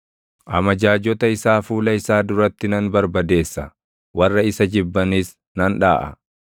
Amajaajota isaa fuula isaa duratti nan barbadeessa; warra isa jibbanis nan dhaʼa.